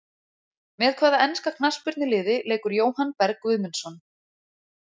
Með hvaða enska knattspyrnuliði leikur Jóhann Berg Guðmundsson?